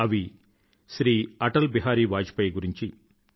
అవి శ్రీ అటల్ బిహారీ వాజ్పాయ్ గురించి